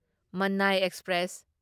ꯃꯥꯟꯅꯥꯢ express